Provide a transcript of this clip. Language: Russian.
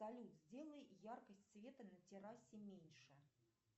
салют сделай яркость света на террасе меньше